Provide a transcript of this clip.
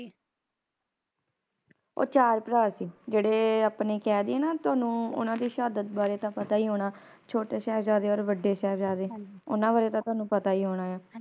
ਉਹ ਚਾਰ ਭਰਾ ਸੀ ਜਿਹੜੇ ਆਪਣੇ ਕਹਿ ਦਈਏ ਨਾ ਤੁਹਾਨੂੰ ਓਹਨਾ ਦੀ ਸ਼ਹਾਦਤ ਬਾਰੇ ਤਾ ਪਤਾ ਹੀ ਹੋਣਾ ਛੋਟੇ ਸ਼ਾਹਿਬਜਾਦੇ ਔਰ ਵੱਡੇ ਸ਼ਾਹਿਬਜਾਦੇ ਓਹਨਾ ਬਾਰੇ ਤਾਂ ਤੋਹਾਨੂੰ ਪਤਾ ਹੀ ਹੋਣਾ